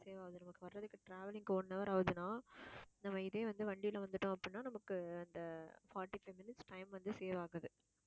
save ஆகுது நமக்கு வர்றதுக்கு, traveling க்கு one hour ஆகுதுன்னா நம்ம இதே வந்து வண்டியில வந்துட்டோம் அப்படின்னா நமக்கு அந்த forty-five minutes time வந்து save ஆகுது